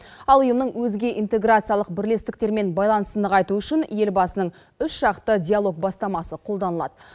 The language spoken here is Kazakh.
ал ұйымның өзге интеграциялық бірлестіктермен байланысын нығайту үшін елбасының үш жақты диалог бастамасы қолданылады